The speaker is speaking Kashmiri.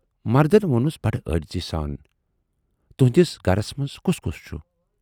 مردَن وونُس بڈٕ عٲجزی سان۔ تہُندِس گرس منز کُس کُس چھُ؟